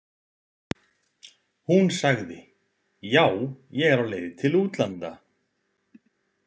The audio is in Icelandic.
Hún sagði: Já, ég er á leið til útlanda.